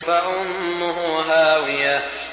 فَأُمُّهُ هَاوِيَةٌ